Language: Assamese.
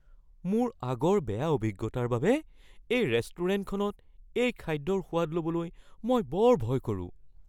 মোৰ আগৰ বেয়া অভিজ্ঞতাৰ বাবে এই ৰেষ্টুৰেণ্টখনত এই খাদ্যৰ সোৱাদ ল'বলৈ মই বৰ ভয় কৰোঁ।